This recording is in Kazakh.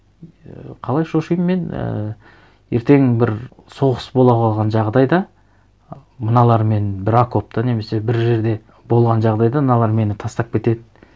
ііі қалай шошимын мен ііі ертең бір соғыс бола қалған жағдайда мыналармен бір окопта немесе бір жерде болған жағдайда мыналар мені тастап кетеді